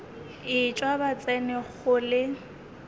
etšwa ba tsena go le